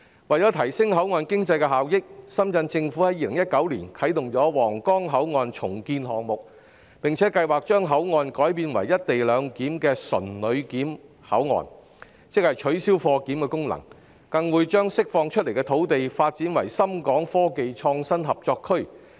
為提升口岸經濟的效益，深圳市政府在2019年啟動皇崗口岸重建項目，計劃將口岸改建為"一地兩檢"的純旅檢口岸，即取消貨檢功能，並將釋放出來的土地，發展成深港科技創新合作區。